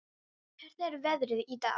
, hvernig er veðrið í dag?